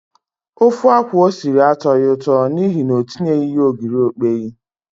Ofe akwụ o siri atọghị ụtọ n'ihi na o tinyeghị ogiri okpei.